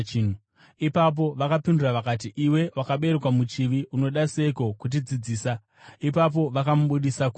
Ipapo vakapindura vakati, “Iwe wakaberekerwa muchivi; unoda seiko kutidzidzisa!” Ipapo vakamubudisa kunze.